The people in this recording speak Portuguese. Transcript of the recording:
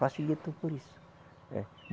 Facilitou por isso. Eh